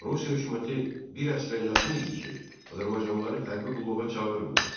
Rusiya hökuməti bir əsrə yaxın idi ki, azərbaycanlıları hərbi qulluğa çağırmır.